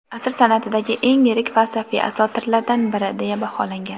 "asr san’atidagi eng yirik falsafiy asotirlardan biri" deya baholangan.